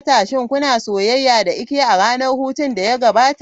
Shin kuna soyayya da Ike a ranar hutun da ya gabata?